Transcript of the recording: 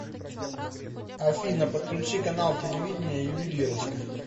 афина подключи канал телевидения ювелирочка